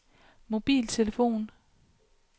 mobiltelefon